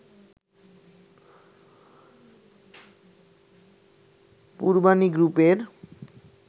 পূর্বানী গ্রুপের